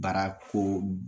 Baara ko